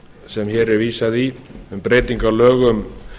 sem hér er vísað í um breyting á lögum